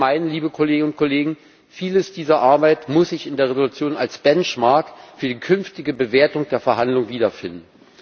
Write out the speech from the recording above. Wir meinen, liebe Kolleginnen und Kollegen Vieles dieser Arbeit muss sich in der Entschließung als Benchmark für die künftige Bewertung der Verhandlungen wiederfinden.